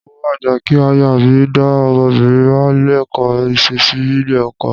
Mo máa gbà kí aya mi dá ọmọbìnrin wa lẹ́kọ̀ọ́ ìṣesí nílé ọkọ.